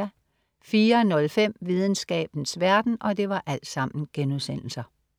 04.05 Videnskabens verden*